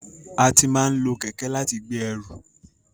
A ti máa n lo kẹkẹ láti gbé ẹrù.